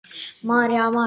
María, María.